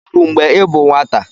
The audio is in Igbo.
Ebìri gị úgwù mgbe ị bụ nwata?